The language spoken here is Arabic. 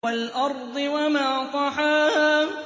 وَالْأَرْضِ وَمَا طَحَاهَا